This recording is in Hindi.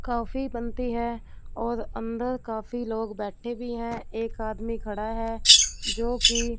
कॉफी बनती हैं और अंदर काफी लोग बैठे भी हैं एक आदमी खड़ा हैं जो की--